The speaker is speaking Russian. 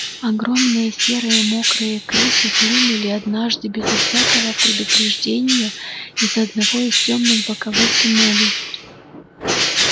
огромные серые мокрые крысы хлынули однажды безо всякого предупреждения из одного из тёмных боковых туннелей